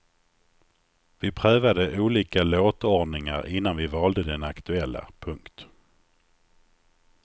Vi prövade olika låtordningar innan vi valde den aktuella. punkt